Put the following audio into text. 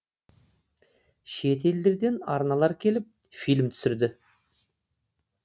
шет елдерден арналар келіп фильм түсірді